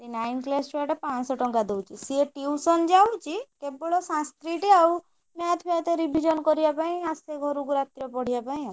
ସେ nine class ଛୁଆଟା ପାଞ୍ଚଶହ ଟଙ୍କା ଦଉଛି ସିଏ tuition ଯାଉଛି କେବଳ Sanskrit ଆଉ Math ପାଥ revision କରିବା ପାଇଁ ଆସେ ଘରକୁ ରାତିରେ ପଢିବା ପାଇଁ ଆଉ।